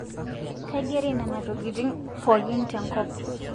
Kaigere nana tokitin pookin tenkop